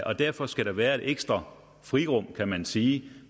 og derfor skal der være et ekstra frirum kan man sige